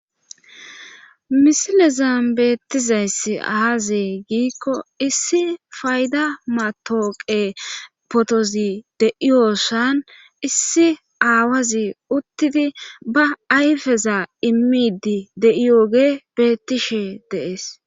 misilezan beettizayssi aaazi giikko issi fayda matooqe potozi de7iyosan issi aawazi uttidi ba ayfeza immidi de7iyooge bettishe deees